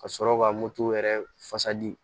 Ka sɔrɔ ka moto yɛrɛ fasa di